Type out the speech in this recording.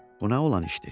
Bu nə olan işdir?